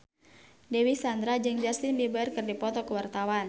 Dewi Sandra jeung Justin Beiber keur dipoto ku wartawan